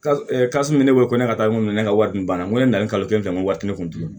min bɛ ne bolo ko ne ka taa mun kɛ ne ka wari dun banna n ko ne nana ni kalo kelen kɛ n ko wari tɛ ne kun ti ye